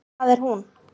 Hvað er hún?